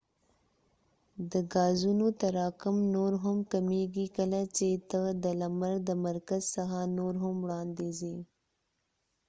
د ګازونو تراکم نور هم کمیږی کله چې ته د لمر د مرکز څخه نور هم وړاندي ځی